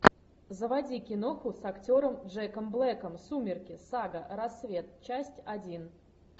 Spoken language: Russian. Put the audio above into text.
заводи киноху с актером джеком блэком сумерки сага рассвет часть один